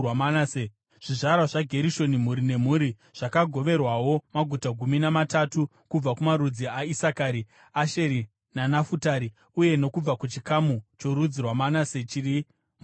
Zvizvarwa zvaGerishoni mhuri nemhuri zvakagoverwawo maguta gumi namatatu kubva kumarudzi aIsakari, Asheri naNafutari uye nokubva kuchikamu chorudzi rwaManase chiri muBhashani.